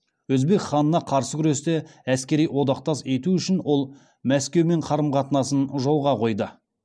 өзбек ханына қарсы күресте әскери одақтас ету үшін ол мәскеумен қарым қатынасын жолға қойды